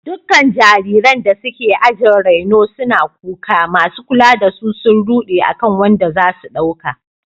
Dukkan jariranda suke ajin raino suna kuka, masu kula da su sun rude akan wanda za su dauka.